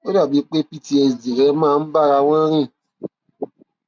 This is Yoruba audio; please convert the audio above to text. ó dàbí pé ptsd rẹ máa ń bá ara wọn rìn